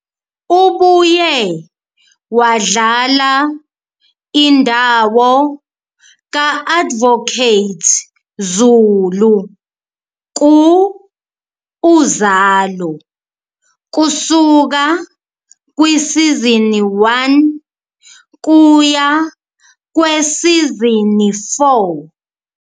Ubuye wadlala indawo ka-Advocate Zulu ku-Uzalo kusuka kwisizini 1 kuya kwesizini 4.